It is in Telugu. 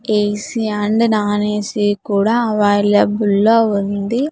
ఏ_సి అండ్ నాన్ ఏ_సి కూడా అవైలబుల్ లో ఉంది.